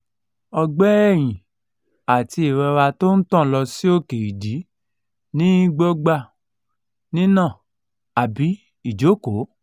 ogbe eyin ati irora to n tan lo si oke idi ni gbogba nina abi ijoko